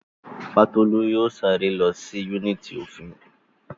Fátólú yóò sáré lọ sí yúnìtì òfin